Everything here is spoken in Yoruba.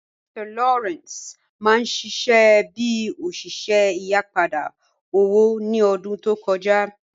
Mr Lawrence mà n ṣiṣẹ̀ bí oṣiṣẹ̀ ìyìpadà owó ni ọ̀dún tó kọja